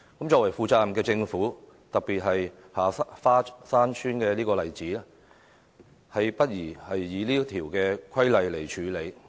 作為負責任的政府，實在不宜以這項規例處理如下花山村的個案。